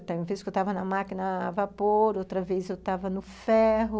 Uma vez que eu estava na máquina a vapor, outra vez eu tava no ferro.